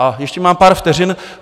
A ještě mám pár vteřin.